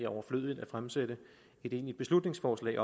overflødigt at fremsætte et beslutningsforslag